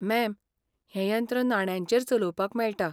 Ma'am, हें यंत्र नाण्यांचेर चलोवपाक मेळटा.